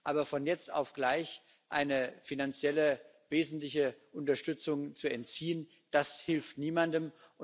Aber von jetzt auf gleich eine wesentliche finanzielle Unterstützung zu entziehen, das hilft niemandem.